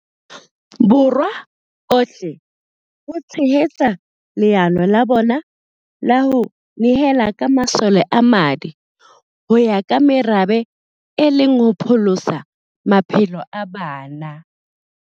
Borwa ohle ho tshehetsa leano la bona la ho ne hela ka masole a madi ho ya ka merabe e le ho pholosa maphelo a bana.